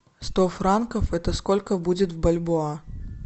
сто франков это сколько будет в бальбоа